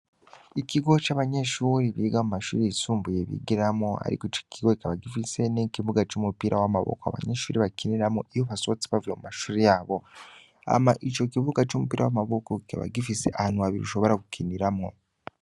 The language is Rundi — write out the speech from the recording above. ikigo c'abanyeshure biga kumashure yisumbuye bigiramwo, ariko ico kigo kikaba gifise n'ikibuga c'umupira w'amaboko abanyeshure bakiniramwo iyo basohotse bavuye mumashure yabo. Hama ico kibuga c'umupira w'amaboko kikaba gifise ahantu habiri ushobora gukiniramwo.